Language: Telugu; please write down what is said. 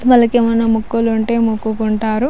వాళ్ళ కి ఎం అయినా మొక్కులు ఉంటె మొక్కుకుంటారు